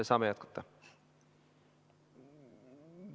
Saame jätkata.